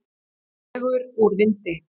Dregur úr vindi